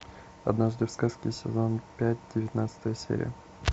однажды в сказке сезон пять девятнадцатая серия